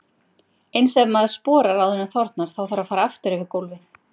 Eins ef maður sporar áður en þornar, þá þarf að fara aftur yfir gólfið.